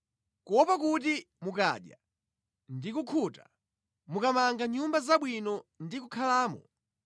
kuopa kuti mukadya ndi kukhuta, mukamanga nyumba zabwino ndi kukhalamo,